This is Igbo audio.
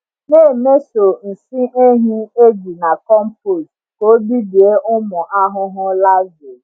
Na-emeso nsị ehi eji na compost ka ọ bibie ụmụ ahụhụ larvae.